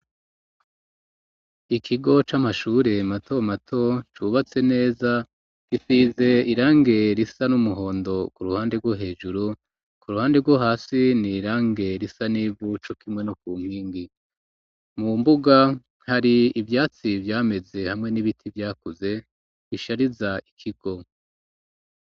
Ikigo c'amashure matomato cubatse neza, gisize irangi risa n'umuhondo ku ruhande rwo hejuru, ku ruhande rwo hasi ni irangi risa n'ivu cokimwe no ku nkingi. Mu mbuga hari ivyatsi vyameze hamwe n'ibiti vyakuze, bishariza ikigo.